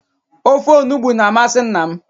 Ofe onugbu na-amasị nna m.